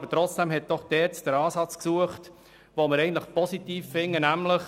Aber trotzdem hat die ERZ einen Ansatz gesucht, den wir positiv finden: